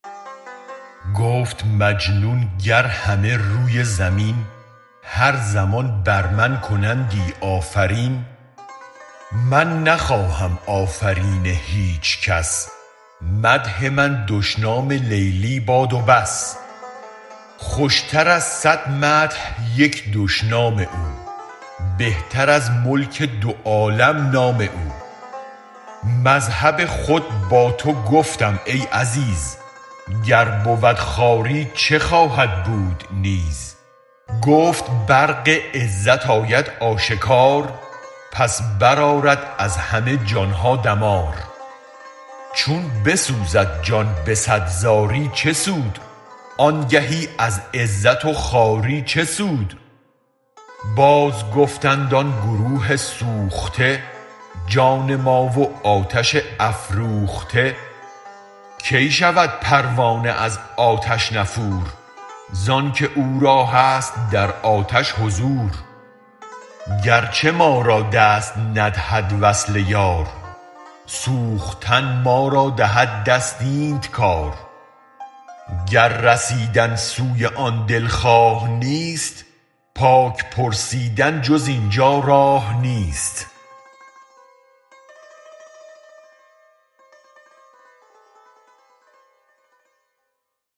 گفت مجنون گر همه روی زمین هر زمان بر من کنندی آفرین من نخواهم آفرین هیچ کس مدح من دشنام لیلی باد و بس خوشتراز صد مدح یک دشنام او بهتر از ملک دو عالم نام او مذهب خود با توگفتم ای عزیز گر بود خواری چه خواهد بود نیز گفت برق عزت آید آشکار پس برآرد از همه جانها دمار چون بسوزد جان به صد زاری چه سود آنگهی از عزت و خواری چه سود بازگفتند آن گروه سوخته جان ما و آتش افروخته کی شود پروانه از آتش نفور زانک او را هست در آتش حضور گرچه ما را دست ندهد وصل یار سوختن ما را دهد دست اینت کار گر رسیدن سوی آن دلخواه نیست پاک پرسیدن جز اینجا راه نیست